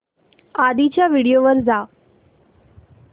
आधीच्या व्हिडिओ वर जा